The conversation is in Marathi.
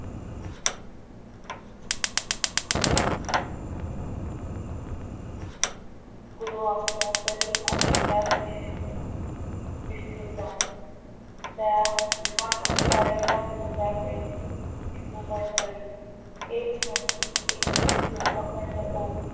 गुरु आमचा तरी अंगी कर विषेद निष्ठेचा त्यासारिखा दुजा तैसी भूमंडळी एक म्हणती एकीचे तो अखंड ओक